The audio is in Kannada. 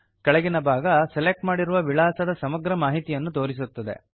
ಕೆಳಗಿನ ಭಾಗ ಸೆಲೆಕ್ಟ್ ಮಾಡಿರುವ ವಿಳಾಸದ ಸಮಗ್ರ ಮಾಹಿತಿಯನ್ನು ತೋರಿಸುತ್ತದೆ